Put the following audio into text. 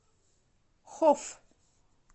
хоф